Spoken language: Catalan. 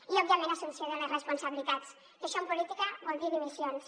i òbviament assumpció de les responsabilitats que això en política vol dir dimissions